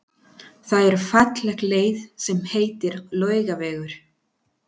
Það er falleg leið sem heitir Laugavegur.